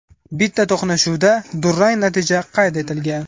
Bitta to‘qnashuvda durang natija qayd etilgan.